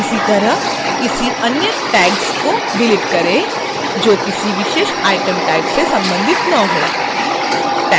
इसी तरह किसी any tags को डिलीट करें जो किसी विशेष item type से संबंधित न हो